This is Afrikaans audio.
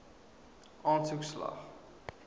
aansoek slaag